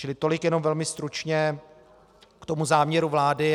Čili tolik jenom velmi stručně k tomu záměru vlády.